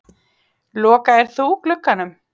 Lokaðir þú glugganum?